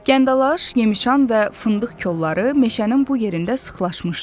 Gəndalaş, yemşan və fındıq kolları meşənin bu yerində sıxlaşmışdı.